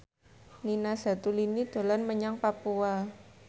Nina Zatulini dolan menyang Papua